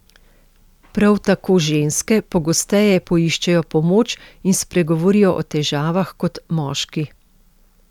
Prav tako ženske pogosteje poiščejo pomoč in spregovorijo o težavah kot moški.